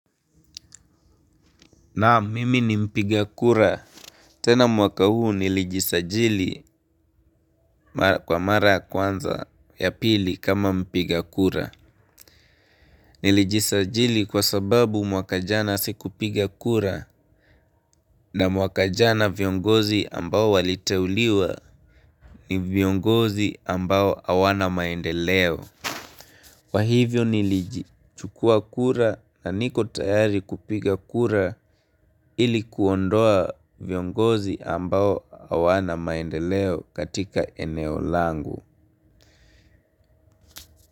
Naam mimi ni mpiga kura. Tena mwaka huu nilijisajili kwa mara ya kwanza ya pili kama mpiga kura. Nilijisajili kwa sababu mwaka jana siku piga kura. Na mwaka jana viongozi ambao waliteuliwa ni viongozi ambao hawana maendeleo kwa hivyo niliji chukua kura na niko tayari kupiga kura ili kuondoa viongozi ambao hawana maendeleo katika eneo langu.